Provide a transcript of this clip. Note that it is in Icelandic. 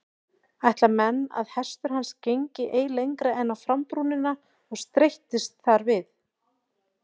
Ætla menn að hestur hans gengi ei lengra en á frambrúnina og streittist þar við.